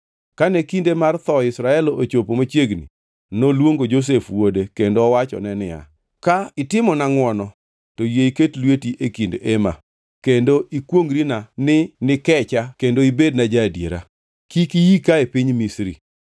Kane kinde mar tho Israel ochopo machiegni, noluongo Josef wuode kendo owachone niya, “Ka itimona ngʼwono, to yie iket lweti e kind ema kendo ikwongʼrina ni nikecha kendo ibedna ja-adiera. Kik iika e piny Misri